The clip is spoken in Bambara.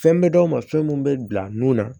Fɛn bɛ d'aw ma fɛn mun bɛ bila nun na